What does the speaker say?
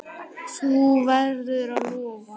Þú verður að lofa!